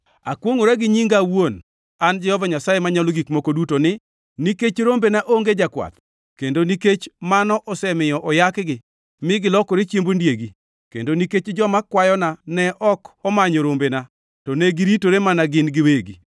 Akwongʼora gi nyinga awuon, an Jehova Nyasaye Manyalo Gik Moko Duto ni, nikech rombena onge jakwath kendo nikech mano osemiyo oyakgi mi gilokore chiemb ondiegi, kendo nikech joma kwayona ne ok omanyo rombena to ne giritore mana gin giwegi,